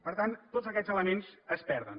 per tant tots aquests elements es perden